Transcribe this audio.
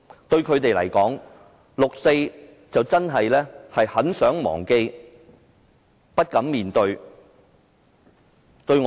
對他們來說，六四是很想忘記又不敢面對的事情。